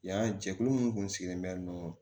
Yan jɛkulu minnu kun sigilen bɛ